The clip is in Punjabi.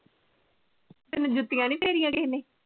ਤੈਨੂੰ ਜੁਤੀਆਂ ਨੀ ਫੇਰੀਆਂ ਕਿਸੇ ਨੇ?